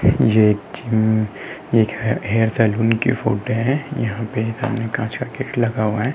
ये एक जिम ये एक हेयर सैलून की फोटो है। यहाँ पर काँच का गेट लगा हुआ है।